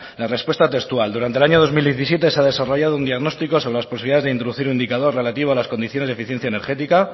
la respuesta textual durante el año dos mil diecisiete se ha desarrollado un diagnóstico sobre las posibilidades de introducir un indicador relativo a las condiciones de eficiencia energética